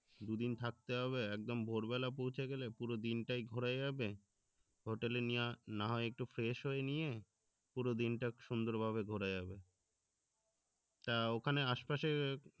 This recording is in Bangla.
দুদিন থাকতে হবে একদম ভোরবেলা পৌঁছে গেলে পুরো দিনটাই ঘোরা যাবে hotel এ না হয় একটু fresh হয়ে নিয়ে পুরো দিনটা সুন্দর ভাবে ঘোরা যাবে তা ওখানে আসে পাশে